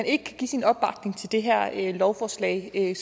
ikke kan give sin opbakning til det her lovforslag kan